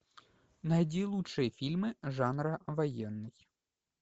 найди лучшие фильмы жанра военный